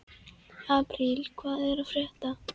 Apríl, hvað er að frétta?